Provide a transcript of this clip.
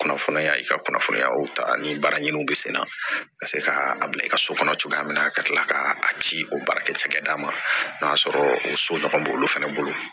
Kunnafoniya ka kunnafoniyaw ta ni baaraɲininiw bɛ senna ka se ka a bila i ka so kɔnɔ cogoya min na ka kila ka ci o baarakɛ cakɛda ma n'o y'a sɔrɔ o so ɲɔgɔn b'olu fɛnɛ bolo